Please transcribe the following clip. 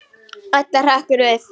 Edda hrekkur við.